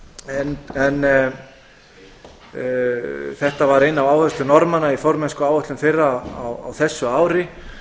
en þetta var ein af áherslum norðmanna í formennskuáætlun þeirra á þessu ári